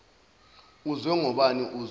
uzwe ngobani uzwe